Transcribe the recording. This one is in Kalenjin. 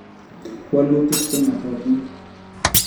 walutik che ng'atootin